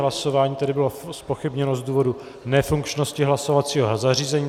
Hlasování tedy bylo zpochybněno z důvodu nefunkčnosti hlasovacího zařízení.